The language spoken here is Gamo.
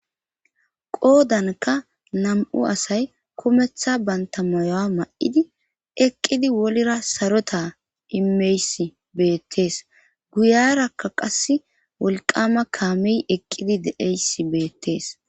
Qoodanka nam7u asay kumeththa banta moyoa ma7idi eqqidi wolra sarota imeys beettees guyarakka qassi wolqama kaame eqqidi deeysi beettees.